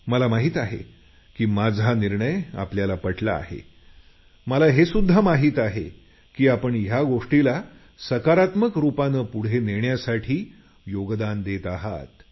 मला माहिती आहे माझा निर्णय तुम्हाला पटला असून या गोष्टीला सकारात्मकतेने पुढे नेण्यासाठी योगदान देत आहात